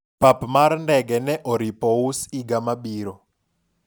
pap mar ndege ne oripo us higa mabiro